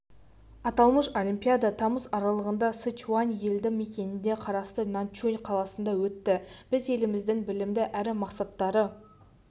аталмыш олимпиада тамыз аралығында сычуань елді мекеніне қарасты наньчун қаласында өтті біз еліміздің білімді әрі мақсаттары